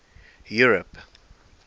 europe